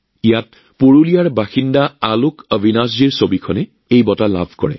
ইয়াত পুৰুলীয়া নিবাসী আলোকঅবিনাশ জীৰ ছবিখনে বঁটা লাভ কৰে